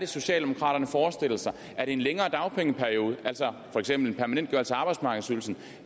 socialdemokraterne forestiller sig er det en længere dagpengeperiode altså for eksempel en permanentgørelse af arbejdsmarkedsydelsen